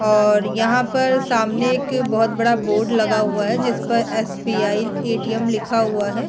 और यहाँ पर सामने एक बहुत बड़ा बोर्ड लगा हुआ है जिसपर एस.बी.आई. ए.टी.एम. लिखा हुआ है।